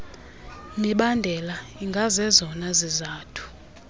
mibandela ingazezona zizathu